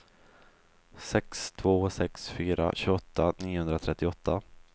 sex två sex fyra tjugoåtta niohundratrettioåtta